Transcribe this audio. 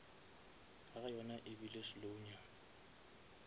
ga yona ebile slow nyana